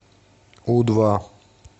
у два